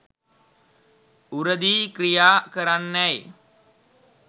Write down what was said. උරදී ක්‍රියා කරන්නැයි